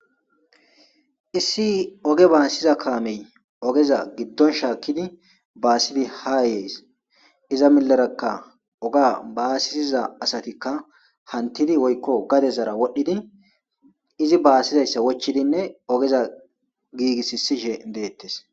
issi oge baasiza kaamey ogeza giddon shaakkidi baasidi ha yees iza milerakka oga baasisiza asatikka hantidi woykko gade zara wodhdhidi izi baassizayssa wochidinne ogeza giigisisishe deettes